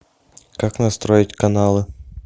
как настроить каналы